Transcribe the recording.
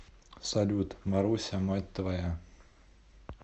салют маруся мать твоя